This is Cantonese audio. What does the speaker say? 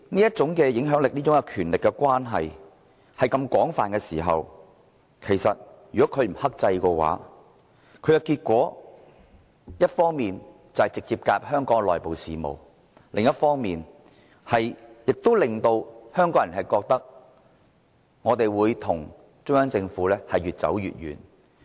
這種影響力、這種權力所觸及的範圍非常廣泛，如果他們不克制，直接介入香港的內部事務，只會令香港人與中央政府的關係越走越遠。